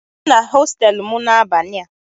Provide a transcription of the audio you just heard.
ị ga-abịa na hostelụ m n'abalị a?